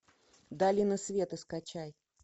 долина света скачай